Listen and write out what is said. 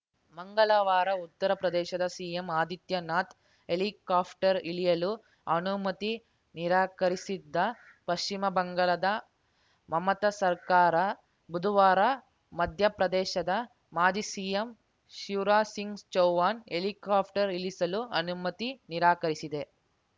ಮಂಗಳವಾರ ಉತ್ತರ ಪ್ರದೇಶದ ಸಿಎಂ ಆದಿತ್ಯನಾಥ್‌ ಹೆಲಿಕಾಪ್ಟರ್‌ ಇಳಿಯಲು ಅನುಮತಿ ನಿರಾಕರಿಸಿದ್ದ ಪಶ್ಚಿಮ ಬಂಗಾಳದ ಮಮತಾ ಸರ್ಕಾರ ಬುಧವಾರ ಮಧ್ಯಪ್ರದೇಶದ ಮಾಜಿ ಸಿಎಂ ಶಿವರಾಜ್‌ ಸಿಂಗ್‌ ಚೌಹಾಣ್‌ ಹೆಲಿಕಾಪ್ಟರ್‌ ಇಳಿಸಲೂ ಅನುಮತಿ ನಿರಾಕರಿಸಿದೆ